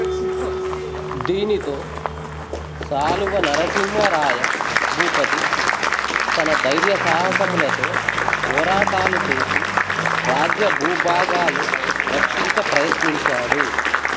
దీనితో సాళువ నరసింహ రాయ భూపతి తన ధైర్య సాహసములతో పోరాటాలు చేసి రాజ్యభూభాగాలు రక్షించ ప్రయత్నించాడు